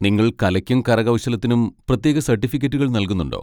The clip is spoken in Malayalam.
നിങ്ങൾ കലയ്ക്കും കരകൗശലത്തിനും പ്രത്യേക സർട്ടിഫിക്കറ്റുകൾ നൽകുന്നുണ്ടോ?